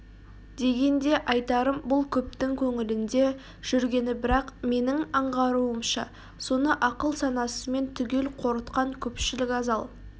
дегенде айтарым бұл көптің көңілінде жүргені бірақ менің аңғаруымша соны ақыл-санасымен түгел қорытқан көпшілік аз ал